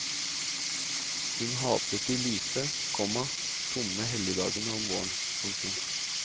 Hun hatet de lyse, komma tomme helligdagene om våren. punktum